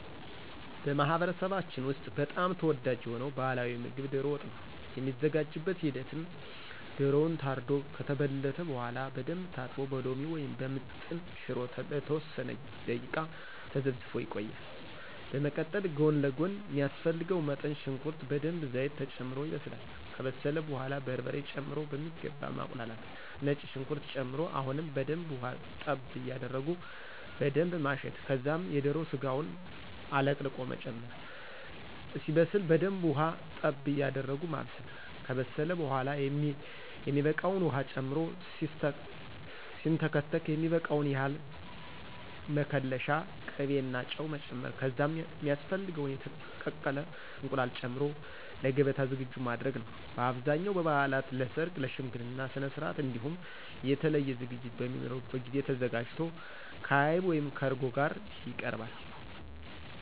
በማህበረሰባችን ውስጥ በጣም ተወዳጅ የሆነው ባህላዊ ምግብ ዶሮ ወጥ ነው። የሚዘጋጅበት ሂደትም ዶሮው ታርዶ ከተበለተ በኃላ በደንብ ታጥቦ በሎሚ ወይም በምጥን ሽሮ ለተወሰነ ደቂቃ ተዘፍዝፎ ይቆያል፤ በመቀጠል ጎን ለጎን ሚያስፈልገው መጠን ሽንኩርት በደንብ ዘይት ተጨምሮ ይበስላል፤ ከበሰለ በኃላ በርበሬ ጨምሮ በሚገባ ማቁላላት፤ ነጭ ሽንኩርት ጨምሮ አሁንም በደንብ ውሀ ጠብ ያደረጉ በደንብ ማሸት ከዛም የዶሮ ስጋውን አለቅልቆ መጨመር፣ እስኪበስ በደንብ ውሃ ጠብ ያደረጉ ማብሰል፤ ከበሰለ በኃላ የሚበቃውን ዉሃ ጨምሮ ሲንተከተክ የሚበቃውን ያህል መከለሻ፣ ቅቤና ጨው መጨመር ከዛም ሚያስፈልገውን የተቀቀለ እንቁላል ጨምሮ ለገበታ ዝግጁ ማድረግ ነዉ። በአብዛኛው በበዓላት፣ ለሠርግ፣ ለሽምግልና ስነስርዓት እንዲሁም የተለየ ዝግጅት በሚኖርበት ጊዜ ተዘጋጅቶ ከዐይብ(ከእርጎ) ጋር ይቀርባል።